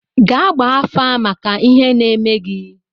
Gaa gbaa afa, mata ihe na-eme gị!